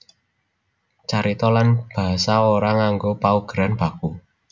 Carita lan basa ora nganggo paugeran baku